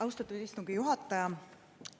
Austatud istungi juhataja!